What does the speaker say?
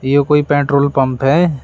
यह कोई petrol pump है।